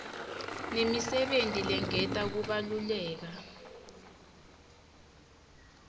nemisebenti lengeta kubaluleka